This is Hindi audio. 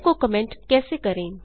लाइन को कमेंट कैसे करें